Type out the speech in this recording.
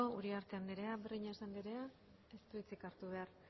uriarte anderea breñas anderea ez du hitzik hartu behar